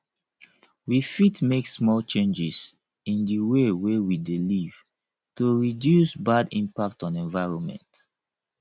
we fit make small changes in di wey we dey live to reduce bad impact on environment